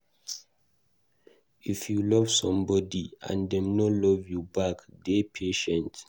If you love somebody and dem no love you back, dey patient